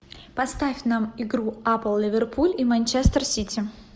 поставь нам игру апл ливерпуль и манчестер сити